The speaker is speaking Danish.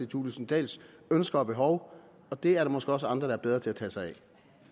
thulesen dahls ønsker og behov og det er der måske også andre der er bedre til at tage sig af